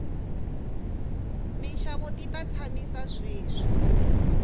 minxavo ti ta tshamisa sweswi